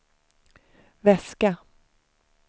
väska